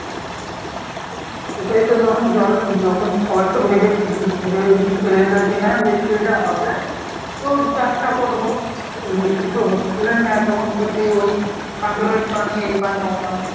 ওটাই তো যখন জলের যখন সবাই তো ভেবে উম ভেবেচিন্তে রেলেছি হ্যাঁ বৃষ্টিটা হবে তো চাষটা করব, বৃষ্টি তো হচ্ছিলই না তখন তো সে ওই কান্দরের পানি এ পানি ও পানি